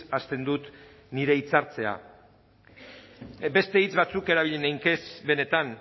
hasten dut nire hitzartzea beste hitz batzuk erabili ninkez benetan